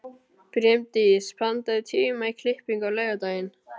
Brimdís, pantaðu tíma í klippingu á laugardaginn.